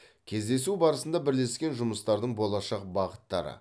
кездесу барысында бірлескен жұмыстардың болашақ бағыттары